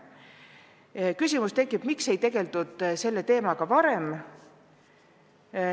On ka küsimus, miks ei tegeldud selle teemaga varem.